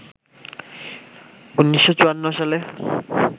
১৯৫৪ সালে